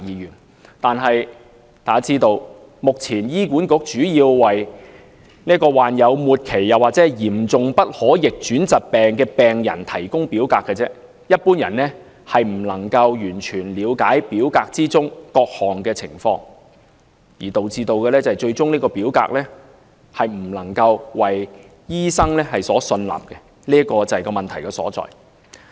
然而，大家都知道，目前醫管局主要為"罹患末期或嚴重不可逆轉疾病的病人"提供表格，一般人未必完全了解表格中的各類情況，最終表格未必為醫生所信納，這就是問題所在。